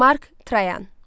Mark Trayan.